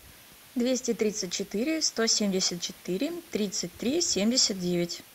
двести тридцать четыре сто семьдесят четыре тридцать три семьдесят девять